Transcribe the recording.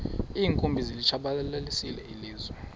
iinkumbi zilitshabalalisile ilizwe